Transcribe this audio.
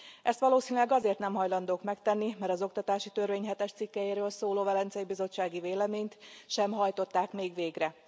Ezt valószínűleg azért nem hajlandók megtenni, mert az oktatási törvény hetes cikkelyéről szóló velencei bizottsági véleményt sem hajtották még végre.